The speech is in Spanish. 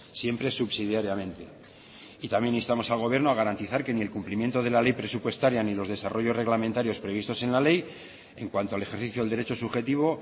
siempre subsidiariamente y también instamos al gobierno a garantizar que ni el cumplimiento de la ley presupuestaria ni los desarrollos reglamentarios previstos en la ley en cuanto al ejercicio del derecho subjetivo